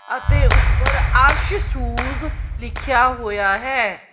ਅਤੇ ਉੱਪਰ ਅਰਸ਼ ਸੂਜ਼ ਲਿਖਿਆ ਹੋਇਆ ਹੈ।